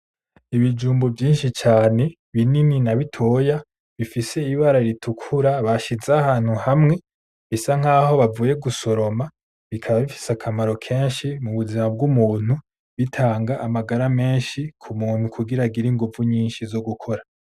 Ibijumbu vyishi cane binini na bitoya bifise ibara ritukura bashize ahantu hamwe bisa nkaho bavuye gusoroma bikaba bifise akamaro kenshi mu buzima bw’umuntu bitanga amagara meshi ku muntu kugira agire inguvu nyishi zo gukora.